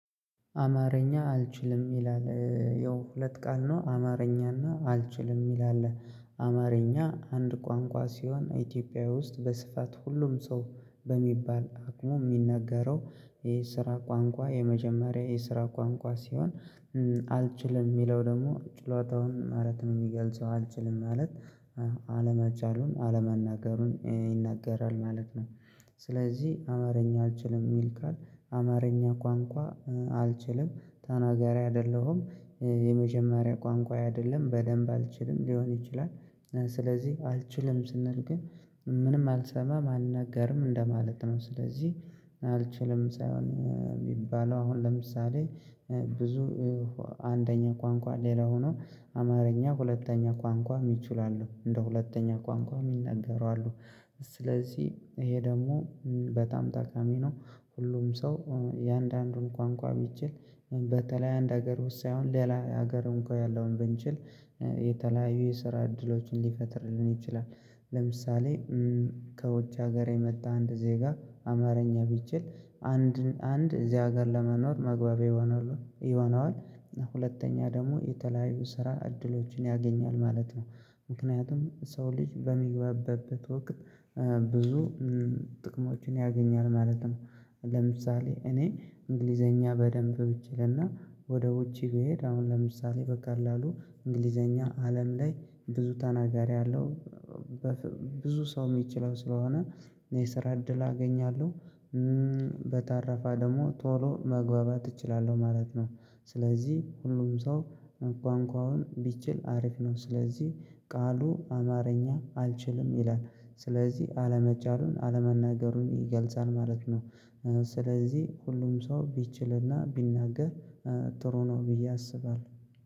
አማርኛ አልችልም ይላል ያው ሁለት ቃል ነው አማርኛና አልችልም ይላል አማርኛ አንድ ቋንቋ ሲሆን ኢትዮጵያዊውስጥ በስፋት ሁሉም ሰው በሚባል አቅሙ የሚናገረው የስራ ቋንቋ የመጀመሪያ የስራ ቋንቋ ሲሆን አልችልም የሚለው ደግሞ ችሎታውን ማለት ነው የሚገልጸው አልችልም ማለት አለመቻሉን አለመናገሩን ይናገራል ማለት ነው። ስለዚህ አማርኛ አልችልም የሚል ቃል አማርኛ ቋንቋ አልችልም ተናጋሪ አይደለሁም። የመጀመሪያ ቋንቋ አይደለም በደንብ አልችልም ሊሆን ይችላል ስለዚህ አልችልም ስንል ግን ምንም አልሰማም አልናገርም እንደማለት ነው። ስለዚህ አልችልም ሳይሆን የሚባለው አሁን ለምሳሌ ብዙ አንደኛ ቋንቋ ሌላ ሆኖ አማርኛ ሁለተኛ ቋንቋ ይችላሉ እንደ ሁለተኛ ቋንቋ የማናገሩ አሉ ስለዚህ ይሄ ደግሞ በጣም ተቃሚ ነው። ሁሉም ሰው የአንዳንዱን ቋንቋ ቢችል በተለይ አንድ ሀገር ውስጥ ሳይሆን ሌላ ሀገርም እንኳን ያለውን ብንችል የተለያዩ የስራ እድሎችን ሊፈጥርልን ይችላል። ለምሳሌ ከውጭ ሀገር የመጣ አንድ ዜጋ አማርኛ ቢችል አንድ እዚህ ሀገር ለመኖር መግባቢያ ይሆነዋል ሁለተኛ ደግሞ የተለያዩ ስራ እድሎችን ያገኛል ማለት ነው። ምክንያቱም ሰው ልጅ በሚግባበበት ወቅት ብዙ ጥቅሞችን ያገኛል ማለት ነው። ለምሳሌ እኔ እንግሊዘኛ በደንብ ብችል እና ወደ ውጪ ብሄድ አሁን ለምሳሌ በቃል አሉ እንግሊዘኛ አለም ላይ ብዙ ተናጋሪ አለው ብዙ ሰው የሚችለው ስለሆነ የስራ እድል አገኛለሁ። በተረፈ ደግሞ ቶሎ መግባባት እችላለሁ ማለት ነው። ስለዚህ ሁሉም ሰው ቋንቋውን ቢችል አሪፍ ነው ስለዚህ ቃሉ አማርኛ አልችልም ይላል ስለዚህ አለመቻሉን አለመናገሩን ይገልጻል ማለት ነው። ስለዚህ ሁሉም ሰው ቢችልና ቢናገር ጥሩ ነው ብዬ አስባለሁ።